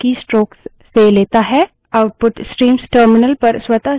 स्वतः से यह terminal keystrokes से लेता है